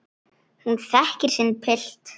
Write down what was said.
Hún þekkir sinn pilt.